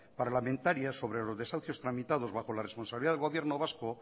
parlamentaria sobre los desahucios tramitados bajo la responsabilidad del gobierno vasco